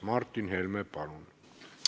Martin Helme, palun!